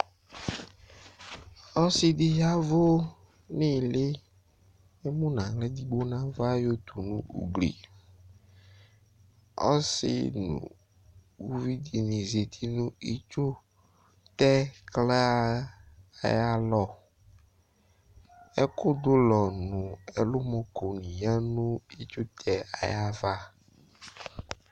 Ɔsɩ ɖɩ ƴavʋ n'ɩhɩlɩ,emu nʋ aɣla eɖigbo n' ava ƴɔtu nʋ ugliƆsɩ nʋ uluvi nɩ zati nʋ itsutɛƙla aƴʋ alɔƐƙʋ ɖʋ ʋlɔ nʋ ɛlʋmɔko nɩ ƴǝ nʋ itsutɛ aƴa ava